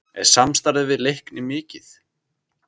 Er samstarfið við Leikni mikið?